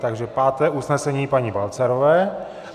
Takže páté usnesení paní Balcarové.